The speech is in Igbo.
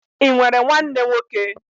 I nwere nwanne nwoke?